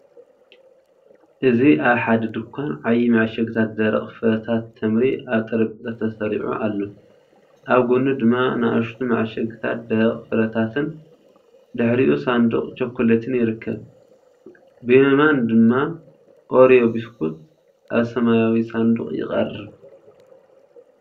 እዚ ኣብ ሓደ ድኳን፡ ዓቢ መዐሸግታት ደረቕ ፍረታት ተምሪ ኣብ ጠረጴዛ ተሰሪዑ ኣሎ፤ ኣብ ጎድኑ ድማ ንኣሽቱ መዐሸግታት ደረቕ ፍረታትን ድሕሪኡ ሳንዱቕ ቸኮሌትን ይርከቡ፡ ብየማን ድማ ኦሪዮ ቢስኩት ኣብ ሰማያዊ ሳንዱቕ ይቐርብ።